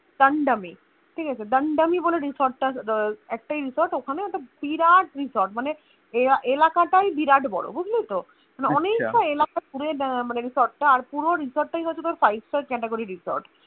Dandami ঠিকাছে Dandami বলে Resort টা‌ একটাই Resort ওখানে ওটা বিরাট Resort মানে এলাকাটাই বিরাট বড় বুঝলীত মানে অনেকটা এলাকা পুরো মানে Resort টা আর পুরো Resort তাই হয়তো তোর five star category resort